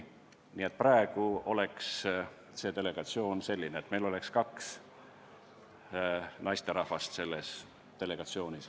Nii et praegu oleks delegatsioon selline, et kaks naisterahvast oleks selles delegatsioonis.